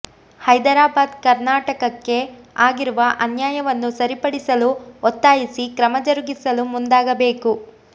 ಹೈದರಾಬಾದ್ ಕರ್ನಾಟಕಕ್ಕೆ ಆಗಿರುವ ಅನ್ಯಾಯವನ್ನು ಸರಿಪಡಿಸಲು ಒತ್ತಾಯಿಸಿ ಕ್ರಮ ಜರುಗಿಸಲು ಮುಂದಾಗಬೇಕು